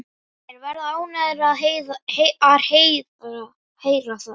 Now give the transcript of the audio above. Þeir verða ánægðir að heyra það.